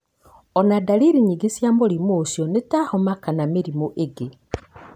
Ona ndariri nyingĩ cia mũrimũ ũcio nĩ ta homa kana mĩrimũ ĩngĩ.